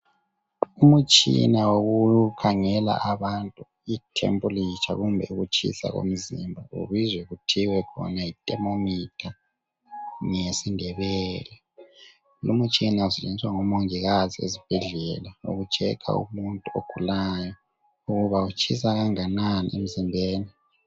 Umutshina wokukhangela abantu ithempulitsha kumbe ukutshisa komzimba. Ubuzwa kuthiwe khona yi-thermometer ngesiNdebele. Lumtshina esetshenziswa ngomongikazi ezibhedlela uku checker umuntu ogulayo ukuba utshisa kanganani emzimbeni.